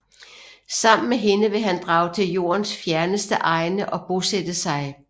Sammen med hende vil han drage til Jordens fjerneste egne og bosætte sig